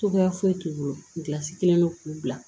Cogoya foyi t'u bolo kelen don k'u bila